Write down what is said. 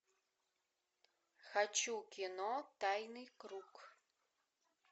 хочу кино тайный круг